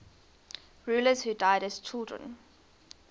rulers who died as children